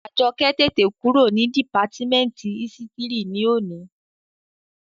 Àjọkẹ́ tètè kúrò ní dìpátímẹ́ǹtì ísítìrì ní òní